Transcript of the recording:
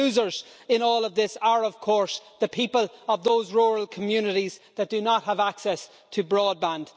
The losers in all of this are, of course, the people of those rural communities that do not have access to broadband.